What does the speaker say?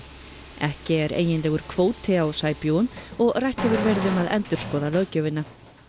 ekki er eiginlegur kvóti á sæbjúgum og rætt hefur verið um að endurskoða löggjöfina